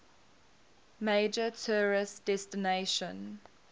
major tourist destination